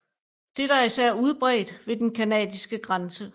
Dette er især udbredt ved den canadiske grænse